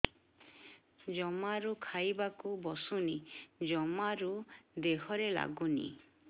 ଜମାରୁ ଖାଇବାକୁ ବସୁନି ଜମାରୁ ଦେହରେ ଲାଗୁନି